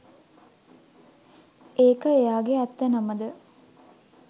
ඒක එයාගෙ ඇත්ත නම ද